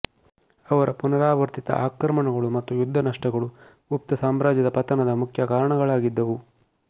ಅವರ ಪುನರಾವರ್ತಿತ ಆಕ್ರಮಣಗಳು ಮತ್ತು ಯುದ್ಧ ನಷ್ಟಗಳು ಗುಪ್ತ ಸಾಮ್ರಾಜ್ಯದ ಪತನದ ಮುಖ್ಯ ಕಾರಣಗಳಾಗಿದ್ದವು